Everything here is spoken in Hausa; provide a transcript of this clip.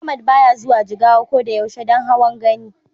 Ahmad baya zuwa Jigawa ko da yaushe don hawan Gani.